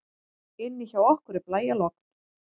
Inni hjá okkur er blæjalogn.